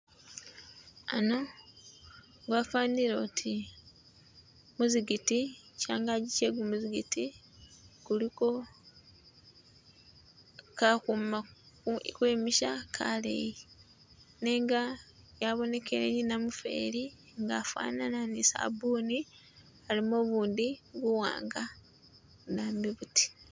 Ano wafanile oti muzikiti changaki che kumuzikiti kuliko kahuma khwe misha kaleyi nenga yabonekele I namufeli nga afanana sabuni alimo ubundi buwanga budambi buti.